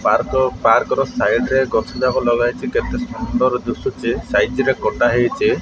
Park ର ଓ park ର ସାଇଡ ରେ ଗଛ ଯାକ ଲଗା ହେଇଚି କେତେ ସୁନ୍ଦର ଦୁଶୁଚି ସାଇଜ ରେ କଟା ହେଇଚି ।